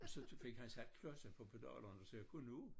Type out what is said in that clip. Og så fik han sat klodser på pedalerne så jeg kunne nå